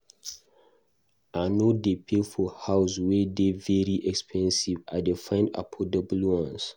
I no dey pay for house wey dey very expensive, I dey find affordable ones.